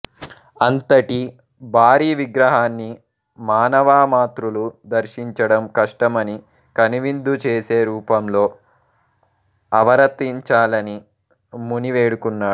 అంతటి భారీ విగ్రహన్ని మానవమాతృలు దర్శించడం కష్టమని కనువిందు చేసే రూపంలో అవరతించాలని ముని వేడుకున్నాడు